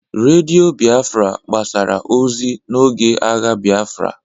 Radio Biafra gbasara ozi n'oge agha Biafra